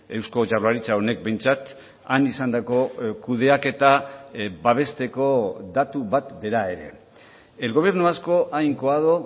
eusko jaurlaritza honek behintzat han izandako kudeaketa babesteko datu bat bera ere el gobierno vasco ha incoado